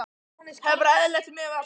Hafi bara verið eðlileg miðað við allt.